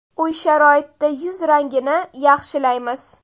Uy sharoitida yuz rangini yaxshilaymiz.